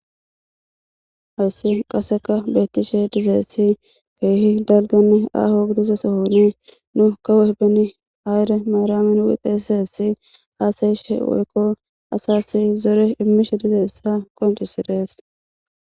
awyssi qaseka beettishe dizeessi keehi dalgani aho gudize sohoni nu ka wehbeni ayre maaramin wixesessi haasayishe woykko asasi zore immishe dizeessa qoncisidees